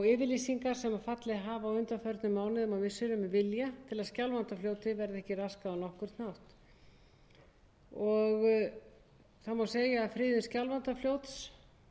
yfirlýsingar sem fallið hafa á undanförnum mánuðum og missirum um vilja til að skjálfandafljóti verði ekki raskað á nokkurn hátt það má segja að friðun skjálfandafljóts verði stórt skref